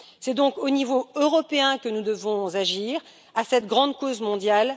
C'est donc au niveau européen que nous devons agir à cette grande cause mondiale.